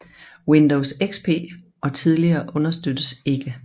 Windows XP og tidligere understøttes ikke